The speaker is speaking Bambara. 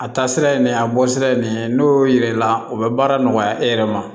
A taasira ye nin a bɔ sira ye nin ye n'o y'o yira i la o bɛ baara nɔgɔya e yɛrɛ ma